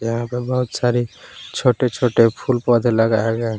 यहां पे बहोत सारी छोटे छोटे फूल पौधे लगाए गए--